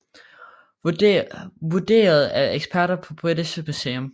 Vurderet af eksperter på British Museum